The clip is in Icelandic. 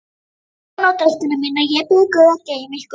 Góða nótt, elskurnar mínar, ég bið guð að geyma ykkur.